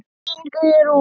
Þín, Guðrún.